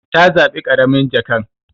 Ta zabi karamin jakan.